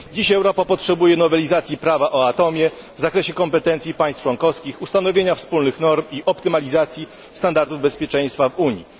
Dzisiaj Europa potrzebuje nowelizacji prawa o atomie w zakresie kompetencji państw członkowskich, ustanowienia wspólnych norm i optymalizacji standardów bezpieczeństwa w Unii.